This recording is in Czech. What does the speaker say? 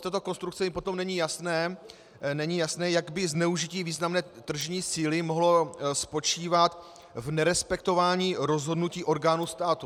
Z této konstrukce mi potom není jasné, jak by zneužití významné tržní síly mohlo spočívat v nerespektování rozhodnutí orgánů státu.